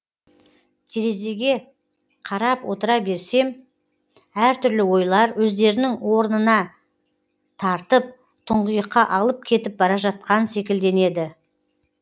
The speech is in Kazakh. терезге қарап отыра берсем әртүрлі ойлар өздерінің орнына тартып тұңғиыққа алып кетіп бара жатқан секілденеді